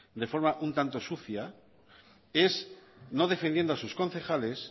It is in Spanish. de forma un tanto sucia es no defendiendo a sus concejales